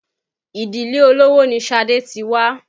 Ìdílé Olówó ni Ṣadé ti wá